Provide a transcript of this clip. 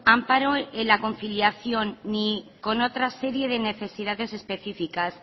amparo en la conciliación ni con otra serie de necesidades especificas